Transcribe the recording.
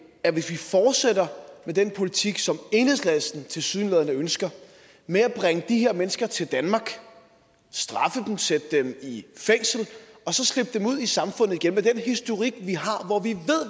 at hvis vi fortsætter med den politik som enhedslisten tilsyneladende ønsker med at bringe de her mennesker til danmark straffe dem sætte dem i fængsel og så slippe dem ud i samfundet igen med den historik vi har hvor vi